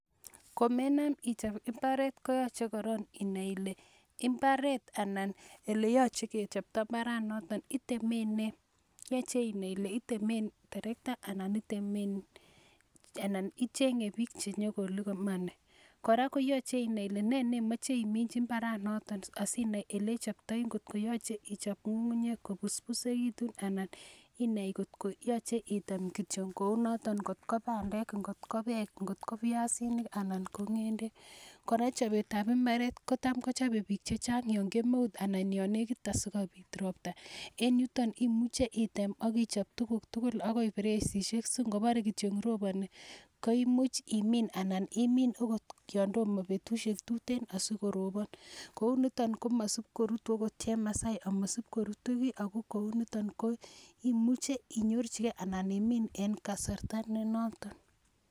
Komenam ichop imbaret koyachen korok inai ile imbaret anan ole yache kechopta mbaranotok, iteme nee. Yache inai ile iteme terekta anan icheng'e piik che nyu ko limani. Kora koyache inai ile na makat imin imbaranoton asinai ole ichoptai ngot koyache i chop ng'ung'unyek ko puspisekitu anan inai kot ko yache item kityo kou notok, ngot ko pandek, ngotko peek, ngotko piasinik anan ng'endek. Kora chopet ap imbaret ko tam kochope piik che chang' yan kemeut anan yan nekit asikopit ropta. En yuton imuche item ak ichop tuguk tugul agoi presishek si kopare kityo ngoroponi ko imuch imin anan imin agot yan toma petushek tuteen asikoropon. Kou nito komasipkorutu agot chemasai amasipkorutu ki ako kou nitan ko imuche inyorchigei anan imin eng' kasarta ne noton.